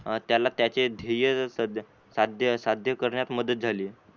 त्याला त्याचे ध्येय सध्य करण्यात मदत झाली.